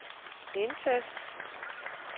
indtast